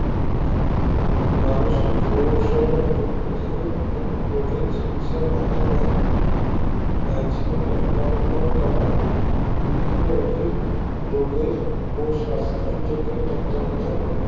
মানুষিক রোগ সোহো রোগ প্রতিরোধ ও রোগের চিগিৎসার মাধ্যমে আহ জীবনের মনোউন্নয়ন করা বিভিন্ন রুগীর রোগের ও সাস্থ সূচকের তত্ত্বাবধান